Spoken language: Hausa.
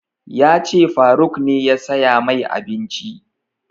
Ya ce faruk ne ya saya mai abinci